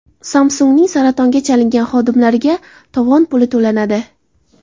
Samsung‘ning saratonga chalingan xodimlariga tovon puli to‘lanadi.